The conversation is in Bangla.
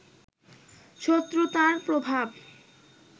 শত্রুতার প্রভাব